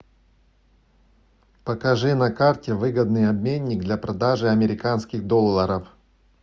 покажи на карте выгодный обменник для продажи американских долларов